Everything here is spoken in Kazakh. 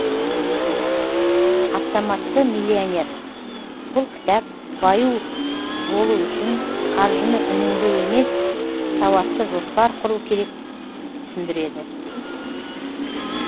автоматты миллионер бұл кітап баю болу үшін қаржыны үнемдеу емес сауатты жоспар құру керек түсіндіреді